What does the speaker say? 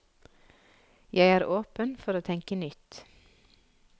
Jeg er åpen for å tenke nytt.